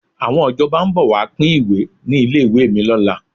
Àwọn ìjọba ń bọ̀ wá pín ìwé ní ilé ìwé mi lọ́la.